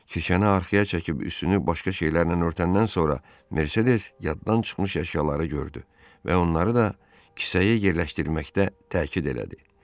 Kirşəni arxaya çəkib üstünü başqa şeylərlə örtəndən sonra Mersedes yaddan çıxmış əşyaları gördü və onları da kisəyə yerləşdirməkdə təkid elədi.